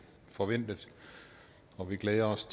forventet og vi glæder os